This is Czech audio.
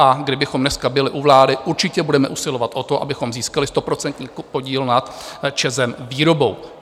A kdybychom dneska byli u vlády, určitě budeme usilovat o to, abychom získali stoprocentní podíl nad ČEZem - výrobou.